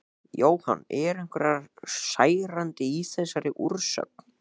Jóhann: Eru einhver særindi í þessari úrsögn?